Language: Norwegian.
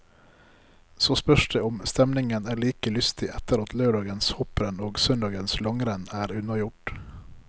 Så spørs det om stemningen er like lystig etter at lørdagens hopprenn og søndagens langrenn er unnagjort.